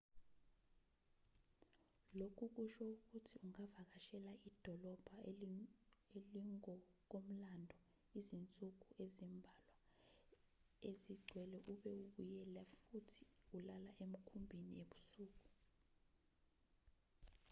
lokhu kusho ukuthi ungavakashela idolobha elingokomlando izinsuku ezimbalwa ezigcwele ube ubuyela futhi ulala emkhumbini ebusuku